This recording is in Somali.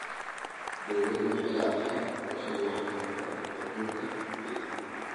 Dawladdu waxa ay la�dahay qorsheyaal lagu xakamaynayo nabaad-guurka ciidda.